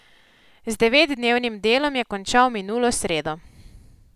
Z devetdnevnim delom je končal minulo sredo.